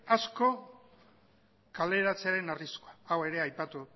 asko kaleratzearen arriskua hau ere aipatu